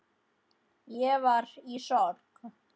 Ég var í sorg.